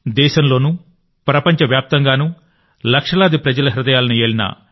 దేశంలోనూ ప్రపంచవ్యాప్తంగానూ లక్షలాది ప్రజల హృదయాలను ఏలిన ఎన్